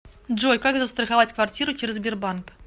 джой как застроховать квартиру через сбербанк